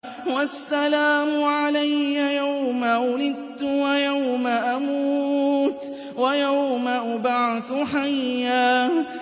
وَالسَّلَامُ عَلَيَّ يَوْمَ وُلِدتُّ وَيَوْمَ أَمُوتُ وَيَوْمَ أُبْعَثُ حَيًّا